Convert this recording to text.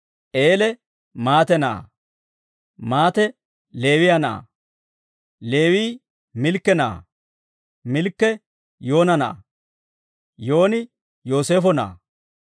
Eele Maate na'aa; Maate Leewiyaa na'aa; Leewii Milkke na'aa; Milkke Yoona na'aa; Yooni Yooseefo na'aa;